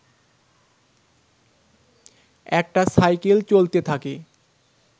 একটা সাইকেল চলতে থাকে